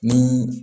Ni